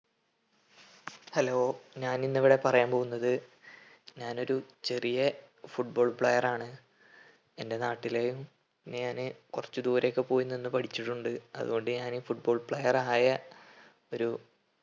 hello ഞാനിന്നിവിടെ പറയാൻ പോകുന്നത് ഞാനൊരു ചെറിയ football player ആണ്. എൻ്റെ നാട്ടിലെയും ഞാന് കൊർച് ദൂരെയൊക്കെ പോയി നിന്ന് പഠിച്ചിട്ടുണ്ട്. അത് കൊണ്ട് ഞാന് football player ആയ ഒരു